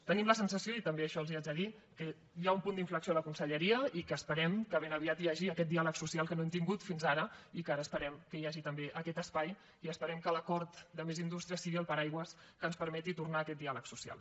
tenim la sensació i també això els ho haig de dir que hi ha un punt d’inflexió a la conselleria i que esperem que ben aviat hi hagi aquest diàleg social que no hem tingut fins ara i que ara esperem que hi hagi també aquest espai i esperem que l’acord de més indústria sigui el paraigua que ens permeti tornar a aquest diàleg social